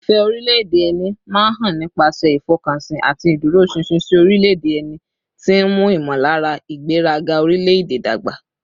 Ìfẹ́ orílẹ̀-èdè ẹni máa ń hàn nípasẹ̀ ìfọkànsìn àti ìdúróṣinṣin sí orílẹ̀-èdè ẹni, tí ń mú ìmọ̀lára ìgbéraga orílẹ̀-èdè dàgbà